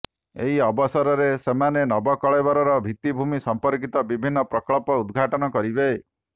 ଏହି ଅବସରରେ ସେମାନେ ନବକଳେବର ଭିତ୍ତିଭୂମି ସମ୍ପର୍କିତ ବିଭିନ୍ନ ପ୍ରକଳ୍ପ ଉଦଘାଟନ କରିବେ